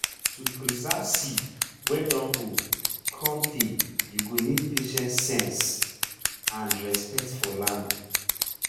to preserve seed wey dun old cun tay you go need patience sense and respect for land.